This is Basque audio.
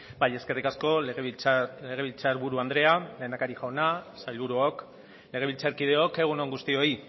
bai eskerrik asko legebiltzar buru andrea lehendakari jauna sailburuok legebiltzarkideok egun on guztioi